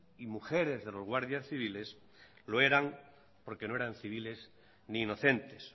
y mujeres de los guardias civiles lo eran porque no eran civiles ni inocentes